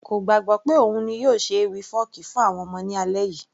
kò gbàgbọ́ pé òun ni yóò ṣọ ewì fọ́ọ̀kí fún àwọn ọmọ ní alẹ́ yìí